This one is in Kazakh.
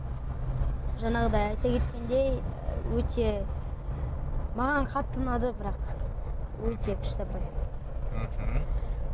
жаңағыдай айта кеткендей өте маған қатты ұнады бірақ өте күшті апай мхм